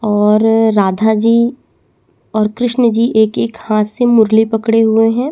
और राधा जी और कृष्ण जी एक एक हाथ से मुरली पकड़े हुए है।